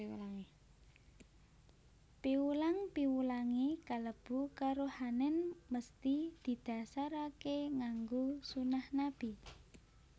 Piwulang piwulangé kalebu karohanèn mesthi didhasaraké nganggo sunah Nabi